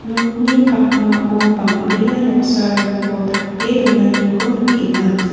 nokni pakmao bang·bea noksarangko tape donaniko nikenga.